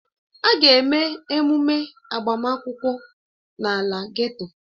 A ga-eme emume agbamakwụkwọ n'ala geto